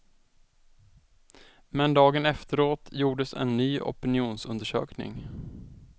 Men dagen efteråt gjordes en ny opinionsundersökning.